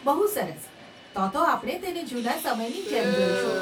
બહુ સરસ, તોતો આપણે તેને જૂના સમયની જેમ જોઈશું.